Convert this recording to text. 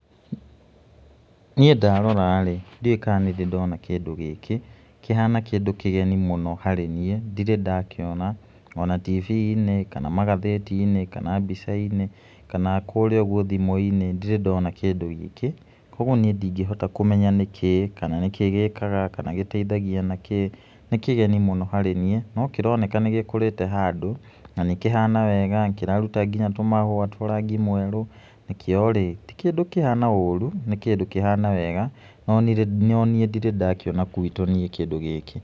Niĩ ndarora rĩ ndiũĩ kana nĩndĩ ndona kĩndũ gĩkĩ kĩhana kĩndũ kĩgeni mũno harĩ niĩ ndirĩ ndakĩona ona tibi-inĩ kana magathĩti-inĩ kana mbica-inĩ kana kũrĩa ũguo thimũ-inĩ ndirĩ ndona kĩndũ gĩkĩ kwoguo nĩe ndingĩhota kũmenya nĩkĩĩ kana nĩkĩĩ gĩkaga kana gĩteithagia na kĩĩ nĩ kĩgeni mũno harĩ nĩe no kĩroneka nĩgĩkũrĩte handũ na nĩ kĩhana wega na kĩraruta nginya tũmahũa twa rangi mwerũ kĩo rĩ ti kĩndũ kĩhana ũru nĩ kĩndũ kĩhana wega no nĩe ndirĩ ndakĩona gwitũ niĩ kĩndũ gĩkĩ.